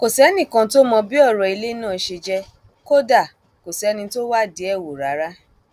kò sẹnì kan tó mọ bí ọrọ ilé náà ṣe jẹ kódà kò sẹni tó wádìí ẹ wò rárá